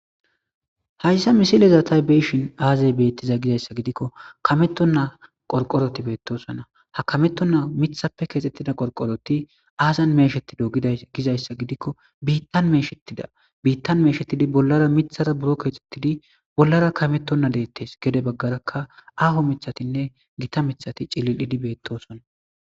hayssa misilezatay beeshin aazay bettiza gizayssa gidikko kameton naa qorqoroti beettosona ha kametton naa mithappe keexxettida qorqoroti aazan meeshetido gida gizayssa gidikko biittan meeshetida biittan meeshettidi bollara mithara buro keexxettidi bollara kametonna deettes gede baggaraka aho mithatinne gita mithati cilil7idi beettosona